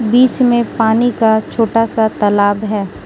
बीच में पानी का छोटा सा तालाब है।